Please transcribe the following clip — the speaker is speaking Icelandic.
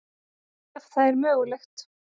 Ef það er mögulegt.